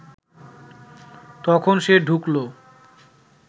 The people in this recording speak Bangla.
তখন সে ঢুকলো